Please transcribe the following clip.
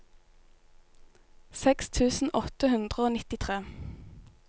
seks tusen åtte hundre og nittitre